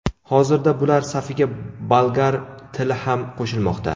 Hozirda bular safiga bolgar tili ham qo‘shilmoqda.